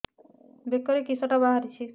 ବେକରେ କିଶଟା ବାହାରିଛି